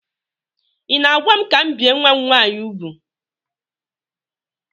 Ị na-agwa m ka m bie nwa m nwaanyị úgwù?